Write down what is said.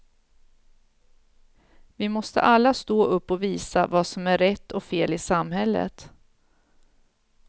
Vi måste alla stå upp och visa vad som är rätt och fel i samhället.